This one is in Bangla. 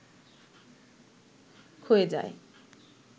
ক্ষয়ে যায়